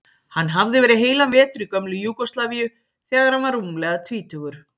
Hann hafði verið heilan vetur í gömlu Júgóslavíu þegar hann var rúmlega tvítugur.